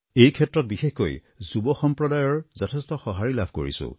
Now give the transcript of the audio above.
এই ক্ষেত্ৰত বিশেষকৈ যুৱ সম্প্ৰদায়ৰ যথেষ্ট সঁহাৰি লাভ কৰিছোঁ